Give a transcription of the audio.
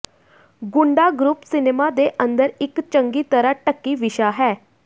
ਗੁੰਡਾਗਰੁੱਪ cinema ਦੇ ਅੰਦਰ ਇੱਕ ਚੰਗੀ ਤਰ੍ਹਾਂ ਢੱਕੀ ਵਿਸ਼ਾ ਹੈ